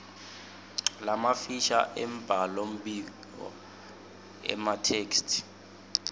lamafisha embhalombiko emathektshi